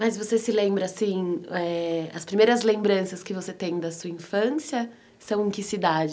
Mas você se lembra, assim, as primeiras lembranças que você tem da sua infância são em que cidade?